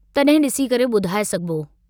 तड॒हिं डिसी करे बुधाए सघिबो।